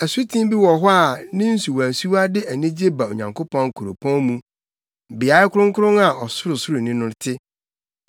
Asuten bi wɔ hɔ a ne nsuwansuwa de anigye ba Onyankopɔn kuropɔn mu, beae kronkron a Ɔsorosoroni no te.